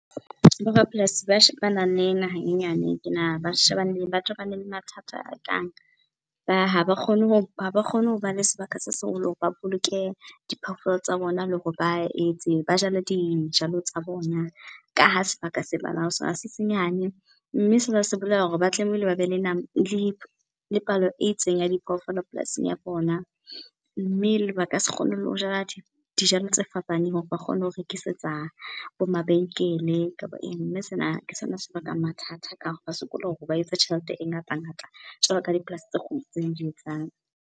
Bo rapolasi ba shebana le naha e nyane, ke ba shebane, ba tobane le mathata a kang, ha ba kgone ho , ha ba kgone ho ba le sebaka se seholo hore ba boloke diphoofolo tsa bona le hore ba etse, ba jale dijalo tsa bona, ka ha sebaka se se senyane. Mme sena se bolela hore ba tlamehile ba be le , le palo e itseng ya diphoofolo polasing ya bona. Mme baka se kgone le ho jala dijalo tse fapaneng hore ba kgone ho rekisetsa bo mabenkele kapa eng. Mme sena ke sona se bakang mathata, ka ba sokola hore ba etse tjhelete e ngata-ngata jwalo ka dipolasi tse kgolo tse di etsang.